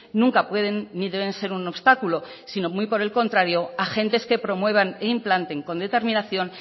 nunca pueden ni deben ser un obstáculo sino muy por el contrario agentes que promuevan e implanten con determinación